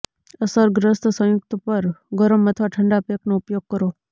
અસરગ્રસ્ત સંયુક્ત પર ગરમ અથવા ઠંડા પેકનો ઉપયોગ કરો